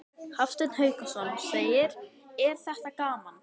Hafsteinn Hauksson: Er þetta gaman?